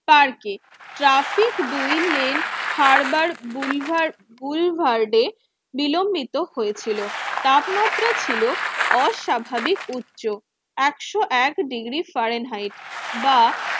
পার্কে ট্রাফিক দুই lane harbour গুলভার গুল ভার্ডে বিলম্বিত হয়েছিল। তাপমাত্রা ছিল অস্বাভাবিক উচ্চ একশো এক ডিগ্রি ফারেনহাইট বা